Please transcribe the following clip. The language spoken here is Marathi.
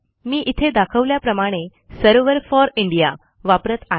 मी इथे दाखवल्याप्रमाणे सर्व्हर फॉर इंडीया वापरत आहे